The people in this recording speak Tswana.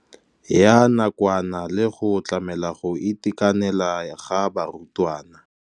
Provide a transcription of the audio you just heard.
Ya nakwana le go tlamela go itekanela ga barutwana.